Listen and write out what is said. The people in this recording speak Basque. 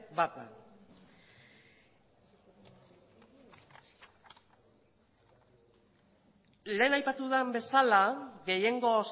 bat da lehen aipatu den bezala gehiengo